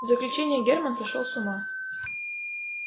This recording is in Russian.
заключение германн сошёл с ума